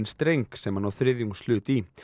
streng sem hann á þriðjungshlut í